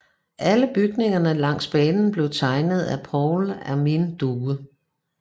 Alle bygningerne langs banen blev tegnet af Paul Armin Due